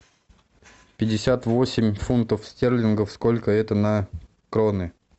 пятьдесят восемь фунтов стерлингов сколько это на кроны